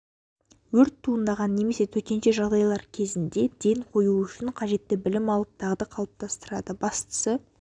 өрт туындаған немесе төтенше жағдай кезінде ден қою үшін қажетті білім алып дағды қалыптастырады бастысы